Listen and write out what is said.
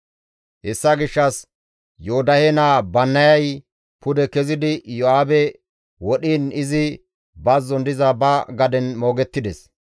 Hessa gishshas Yoodahe naa Bannayay pude kezidi Iyo7aabe wodhiin izi bazzon diza ba gaden moogettides.